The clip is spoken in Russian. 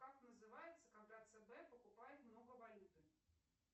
как называется когда цб покупает много валюты